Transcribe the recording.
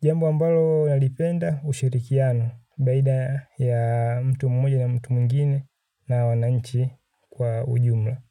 jambo ambalo nalipenda ushirikiano baina ya mtu mmoja na mtu mwingine na wananchi kwa ujumla.